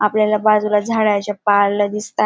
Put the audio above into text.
आपल्याला बाजूला झाडाच्या पाला दिसताय.